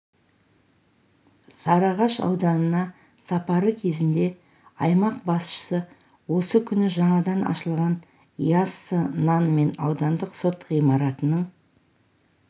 сарыағаш ауданына сапары кезінде аймақ басшысы осы күні жаңадан ашылған яссы нан мен аудандық сот ғимаратының